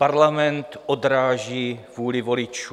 Parlament odráží vůli voličů.